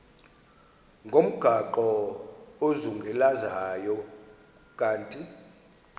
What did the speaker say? ngomgaqo ozungulezayo ukanti